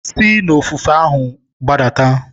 Si n'ofefe ahụ gbadata.